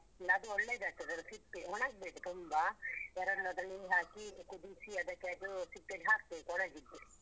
ಅದು ಒಳ್ಳೆದಾಗ್ತದೆ ಅದು ಸಿಪ್ಪೆ ಒಣಗ್ಬೇಕು ತುಂಬ. ಒಣಗಿದ್ಮೇಲ್ ಅದಕ್ಕೆ ನೀರ್ ಹಾಕಿ ಕುದಿಸಿ ಅದಕ್ಕೆ ಅದು ಸಿಪ್ಪೆ ಹಾಕ್ಬೇಕು ಒಣಗಿಸಿ